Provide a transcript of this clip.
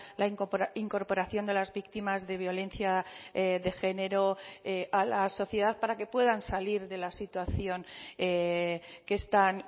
la incorporación de las víctimas de violencia de género a la sociedad para que puedan salir de la situación que están